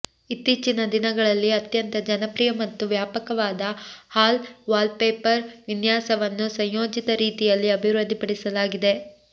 ಇತ್ತೀಚಿನ ದಿನಗಳಲ್ಲಿ ಅತ್ಯಂತ ಜನಪ್ರಿಯ ಮತ್ತು ವ್ಯಾಪಕವಾದ ಹಾಲ್ ವಾಲ್ಪೇಪರ್ ವಿನ್ಯಾಸವನ್ನು ಸಂಯೋಜಿತ ರೀತಿಯಲ್ಲಿ ಅಭಿವೃದ್ಧಿಪಡಿಸಲಾಗಿದೆ